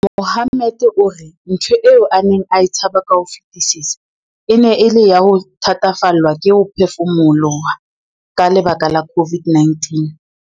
Mohammed o re ntho eo a neng a e tshaba ka ho fetisisa e ne e le ya ho thatafallwa ke ho phefumoloha ka lebaka la COVID-19.